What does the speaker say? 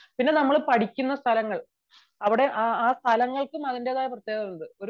പിന്നെ നമ്മൾ പഠിക്കുന്ന സ്ഥലങ്ങൾ ആ സ്ഥലങ്ങൾക്കും അതിന്റെതായ പ്രത്യേകതകൾ ഉണ്ട്